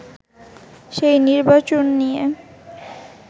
সেই নির্বাচন নিয়ে